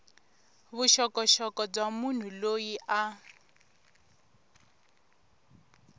vuxokoxoko bya munhu loyi a